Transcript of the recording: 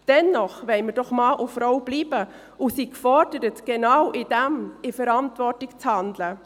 Dennoch wollen wir doch Mann und Frau bleiben und sind gefordert, genau darin verantwortungsvoll zu handeln.